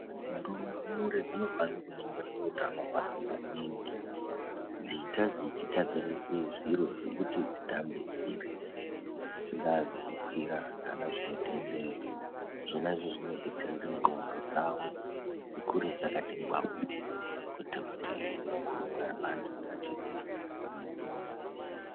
Ndumure dzinofanirwa kunongirirwa utano hwadzo maningi. Dzeiita dzechigadzirirwa zviro zvekuti dzitambe dziri. Zvingaa zvekukwira kana zvinotenderera zvona izvozvo zvinobetsera kuti ndxondo dzavo dzikure dzakati ngwau, kuitira kuti vakure vari vantu vakati hwee vakagwinya.